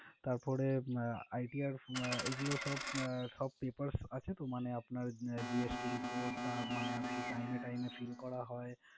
তারপরে ITR এগুলো সব আহ সব papers আছে তো মানে আপনার GST report মানে আরকি time to time fill করা হয়।